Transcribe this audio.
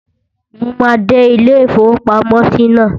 Mo máa dé ilé-ìfowópamọ́sí náà